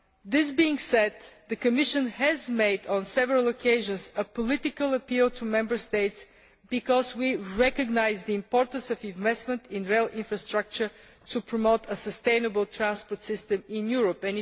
That being said, the Commission has, on several occasions, made a political appeal to Member States because we recognise the importance of investment in rail infrastructure to promote a sustainable transport system in Europe.